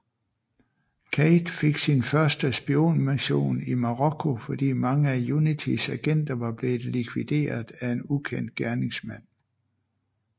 Cate fik sin første spionmission i Marokko fordi mange af UNITYs agenter var blevet likvideret af en ukendt gerningsmand